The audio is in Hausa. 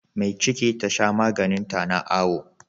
Me ciki Tasha maganin ta na awo